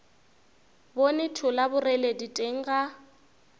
bone thola boreledi teng ga